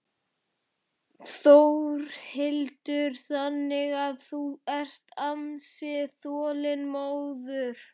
Þórhildur: Þannig að þú ert ansi þolinmóður?